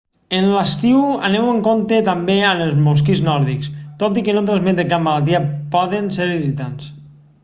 en l'estiu aneu amb compte també amb els mosquits nòrdics tot i que no transmeten cap malaltia poden ser irritants